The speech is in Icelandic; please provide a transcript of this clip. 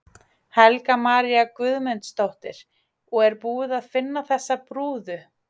Helga María Guðmundsdóttir: Og er búið að finna þessa brúðu?